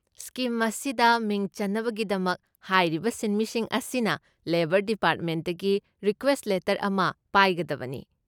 Scheme ꯑꯁꯤꯗ ꯃꯤꯡ ꯆꯟꯅꯕꯒꯤꯗꯃꯛ ꯍꯥꯏꯔꯤꯕ ꯁꯤꯟꯃꯤꯁꯤꯡ ꯑꯁꯤꯅ ꯂꯦꯕꯔ ꯗꯤꯄꯥꯔꯠꯃꯦꯟꯗꯒꯤ ꯔꯤꯀ꯭ꯋꯦꯁꯠ ꯂꯦꯇꯔ ꯑꯃ ꯄꯥꯏꯒꯗꯕꯅꯤ꯫